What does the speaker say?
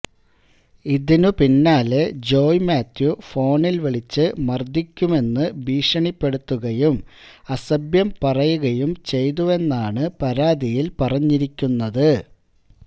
ഇതിനു പിന്നാലെ ജോയ് മാത്യു ഫോണില് വിളിച്ച് മര്ദ്ദിക്കുമെന്ന് ഭീഷണിപ്പെടുത്തുകയും അസഭ്യം പറയുകയും ചെയ്തുവെന്നാണ് പരാതിയില് പറഞ്ഞിരിക്കുന്നത്